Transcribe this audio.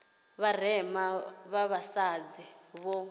vha vharema vha vhasadzi vho